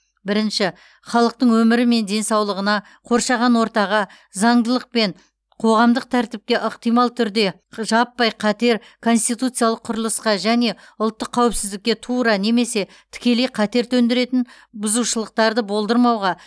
бірінші халықтың өмірі мен денсаулығына қоршаған ортаға заңдылық пен қоғамдық тәртіпке ықтимал түрде жаппай қатер конституциялық құрылысқа және ұлттық қауіпсіздікке тура немесе тікелей қатер төндіретін бұзушылықтарды болдырмауға